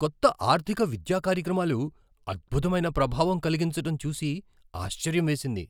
కొత్త ఆర్థిక విద్యా కార్యక్రమాలు అద్భుతమైన ప్రభావం కలిగించటం చూసి ఆశ్చర్యం వేసింది.